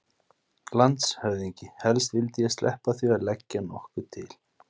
LANDSHÖFÐINGI: Helst vildi ég sleppa því að leggja nokkuð til.